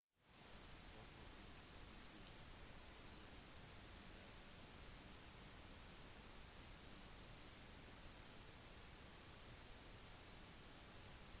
potro fikk behandling til skulderen på denne tiden men klarte å komme tilbake til spillet